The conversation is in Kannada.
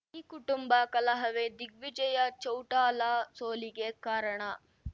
ಈ ಕುಟುಂಬ ಕಲಹವೇ ದಿಗ್ವಿಜಯ ಚೌಟಾಲಾ ಸೋಲಿಗೆ ಕಾರಣ